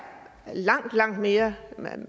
langt langt mere